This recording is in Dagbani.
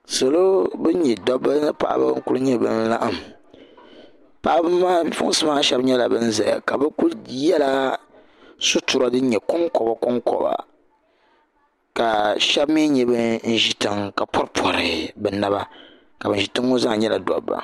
Salo bini nyɛ paɣaba ni dabba n kuli nyɛ laɣim bipuɣinsi maa shɛba nyɛla bini zɛya ka bi kuli ye la sitira dini nyɛ konkoba konkoba ka shɛba mi nyɛ bini zi tiŋa ka pɔri pɔri bi naba ka bini zi tiŋa ŋɔ zaa nyɛla dabba.